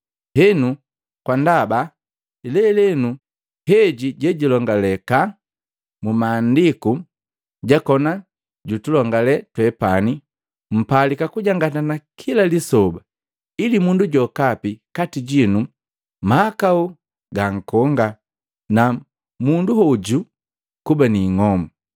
Henu kwa ndaba, “Lelenu” heji jejilongaleka mu Maandiku jakona jutulongale twepani, mpalika kujangatana kila lisoba, ili mundu jokapi kati jinu mahakau gankonga na munduhoju kuba ni ing'omu.